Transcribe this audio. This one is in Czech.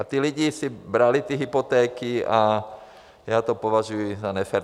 A ti lidé si brali ty hypotéky a já to považuji za nefér.